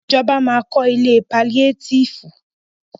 Ìjọba ma kọ́ ilé paliétífù.